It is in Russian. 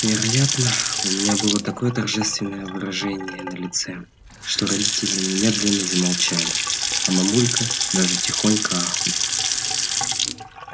вероятно у меня было такое торжественное выражение на лице что родители немедленно замолчали а мамулька даже тихонько ахнула